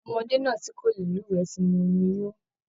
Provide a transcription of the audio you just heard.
Ọmọdé náà tí kò lè luwẹ̀ tí mu omi yóó.